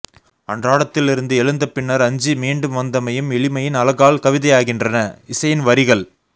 அன்றாடத்திலிருந்து எழுந்தபின்னர் அஞ்சி மீண்டும் வந்தமையும் எளிமையின் அழகால் கவிதையாகின்றன இசையின் வரிகள்